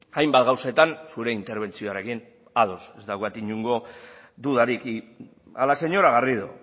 hainbat gauzetan zure interbentzioarekin ados ez daukat inongo dudarik a la señora garrido